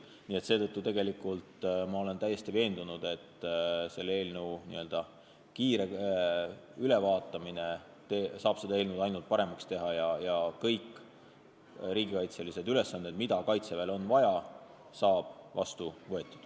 Nii et seetõttu olen ma täiesti veendunud, et selle seaduse n-ö kiire ülevaatamine saab seda ainult paremaks teha ja kõik riigikaitselised ülesanded, mida Kaitseväele on vaja, saavad seadusega vastu võetud.